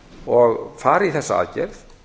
og fara í þessa aðgerð